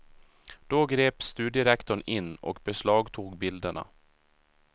Då grep studierektorn in och beslagtog bilderna.